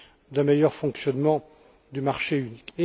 d'un meilleur fonctionnement du marché unique.